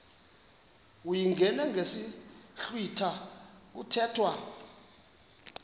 uyingene ngesiblwitha kuthethwa